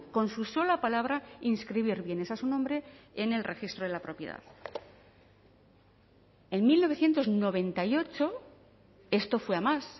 con su sola palabra inscribir bienes a su nombre en el registro de la propiedad en mil novecientos noventa y ocho esto fue a más